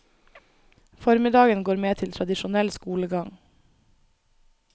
Formiddagen går med til tradisjonell skolegang.